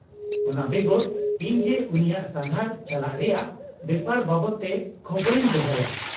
-ᱚᱱᱟ ᱵᱮᱜᱚᱨ, ᱤᱧᱜᱮ ᱩᱱᱤᱭᱟᱜ ᱥᱟᱸᱜᱷᱟᱨ ᱪᱟᱞᱟᱜ ᱨᱮᱭᱟᱜ ᱵᱮᱯᱟᱨ ᱵᱟᱵᱚᱫ ᱛᱮ ᱠᱷᱚᱵᱚᱨᱤᱧ ᱫᱚᱦᱚᱭᱟ ᱾